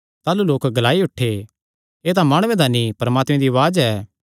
ताह़लू लोक ग्लाई उठे एह़ तां माणुये दा नीं परमात्मे दी उआज़ ऐ